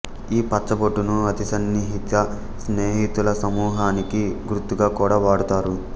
ఈ పచ్చబొట్టును అతి సన్నిహిత స్నేహితుల సమూహానికి గుర్తుగా కూడా వాడుతారు